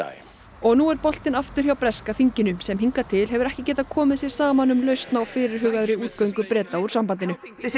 og nú er boltinn aftur hjá breska þinginu sem hingað til hefur ekki getað komið sér saman um lausn á fyrirhugaðri útgöngu Breta úr sambandinu